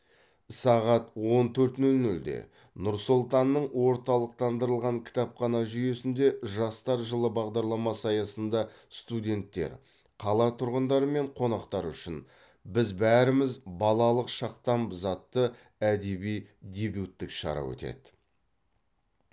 сағат он төрт нөл нөлде нұр сұлтанның орталықтандырылған кітапхана жүйесінде жастар жылы бағдарламасы аясында студенттер қала тұрғындары мен қонақтары үшін біз бәріміз балалық шақтанбыз атты әдеби дебюттік шара өтеді